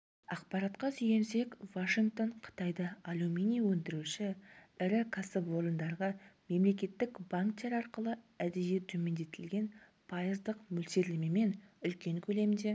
ақпаратқа сүйенсек вашингтон қытайды алюминий өндіруші ірі кәсіпорындарғамемлекеттік банктер арқылы әдейі төмендетілген пайыздық мөлшерлемемен үлкен көлемде